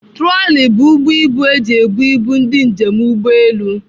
Trọli bụ ụgbọ ibu eji ebụ ibu ndị njem ụgbọelu.